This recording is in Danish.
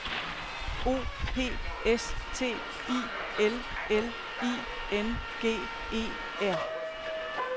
O P S T I L L I N G E R